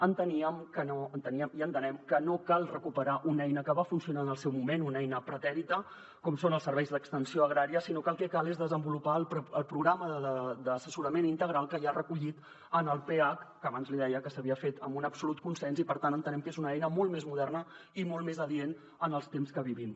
enteníem i entenem que no cal recuperar una eina que va funcionar en el seu moment una eina pretèrita com són els serveis d’extensió agrària sinó que el que cal és desenvolupar el programa d’assessorament integral que hi ha recollit en el pac que abans li deia que s’havia fet amb un absolut consens i per tant entenem que és una eina molt més moderna i molt més adient en els temps que vivim